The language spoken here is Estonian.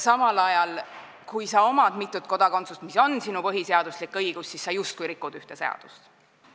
Samal ajal, kui sul on mitu kodakondsust, mis on sinu põhiseaduslik õigus, siis sa justkui rikud ühte seadust.